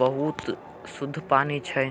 बहुत सुध शुद्ध पानी छय।